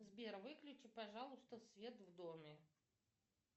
сбер выключи пожалуйста свет в доме